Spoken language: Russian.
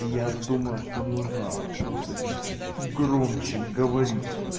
и я думаю что нужно просто чуть-чуть громче говорить